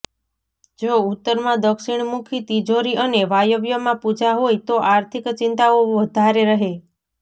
જો ઉત્તરમાં દક્ષિણમુખી તિજોરી અને વાયવ્યમાં પૂજા હોય તો આર્થિક ચિંતાઓ વધારે રહે